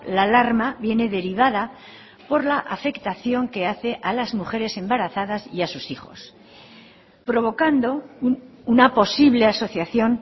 la alarma viene derivada por la afectación que hace a las mujeres embarazadas y a sus hijos provocando una posible asociación